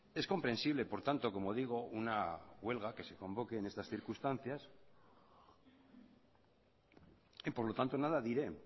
es comprensible por tanto como digo una huelga que se convoque en estas circunstancias y por lo tanto nada diré